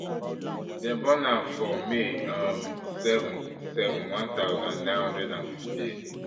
dem born her for may um seven seven one thousand, nine hundred and fifty-eight